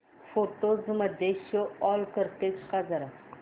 photos मध्ये show all करतेस का जरा